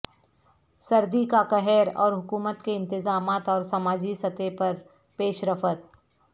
سردی کا قہر اور حکومت کے انتظامات اور سماجی سطح پر پیش رفت